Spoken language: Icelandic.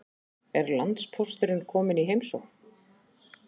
Er landpósturinn kominn í heimsókn?